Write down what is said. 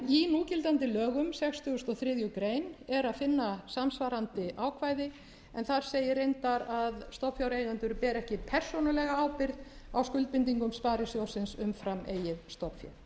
í núgildandi lögum sextugustu og þriðju grein er að finna samsvarandi ákvæði en þar segir reyndar að stofnfjáreigendum beri ekki persónulega ábyrgð á skuldbindingum sparisjóðsins umfram eigið stofnfé